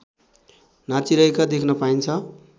नाचिरहेका देख्न पाइन्छ